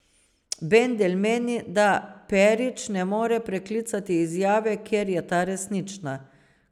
Bandelj meni, da Perić ne more preklicati izjave, ker je ta resnična.